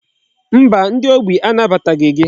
Mba, ndi ogbi a nabataghị gị.